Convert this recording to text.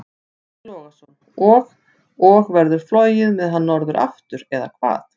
Breki Logason: Og, og verður flogið með hann norður aftur, eða hvað?